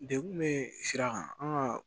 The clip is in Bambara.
Dekun bɛ sira kan an ka